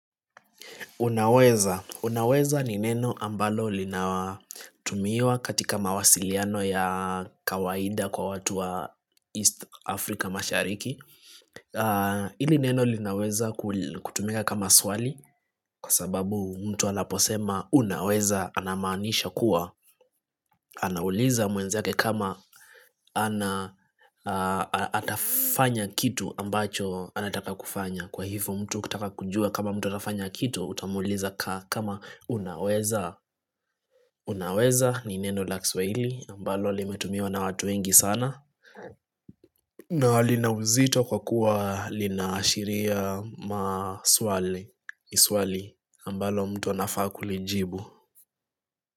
Unaweza: unaweza ni neno ambalo linatumiwa katika mawasiliano ya kawaida kwa watu wa East Africa mashariki hili neno linaweza kutumika kama swali, kwa sababu, mtu anaposema unaweza anamaanisha kuwa anauliza mwenzake kama atafanya kitu ambacho anataka kufanya. Kwa hivyo mtu kutaka kujua kama mtu nafanya kitu utamuliza kama "unaweza? ' Unaweza ni nendo la kiswahili ambalo limetumiwa na watu wengi sana na lina uzito kwa kuwa linaashiria swali ambalo mtu anafaa kulijibu.